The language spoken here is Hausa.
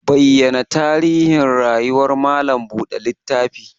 Bayyana tarihin rayuwar malam buɗe littafi!